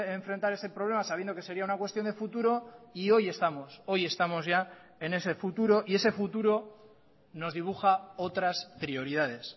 enfrentar ese problema sabiendo que sería una cuestión de futuro y hoy estamos hoy estamos ya en ese futuro y ese futuro nos dibuja otras prioridades